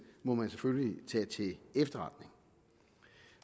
må vi selvfølgelig tage til efterretning